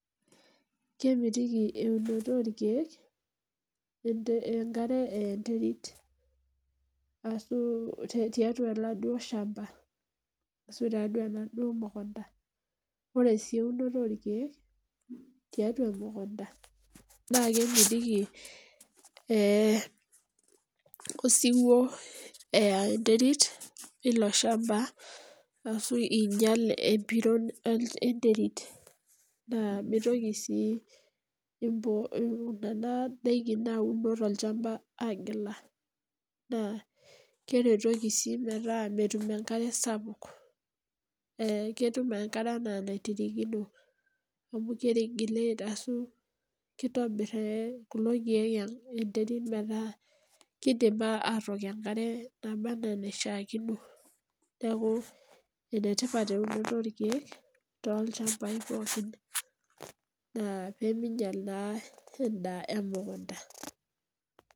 Kemitiki eunoto oorkeek enkare eya enterit ashu tiatua oladuo shamba ashu tiatua oladuo mukunta. Ore sii eunoto oorkeek tiatua emukunta naa kemitiki eh osiwuo eya enterit ilo shamba ashu inyial epiron enterit naa, mitoki sii nena ndaikin nauno tolchamba aigila naa, keretoki sii metaa metum enkare sapuk eh ketum enkare enaa eniririkino amu ki regulate arashu kitobir kulo keek enterit metaa kidim atook enkare naba enaa enaishiakino. Neaku enetipat eunoto oorkeek tolchambai pookin naa piminyial naa endaa emukunta.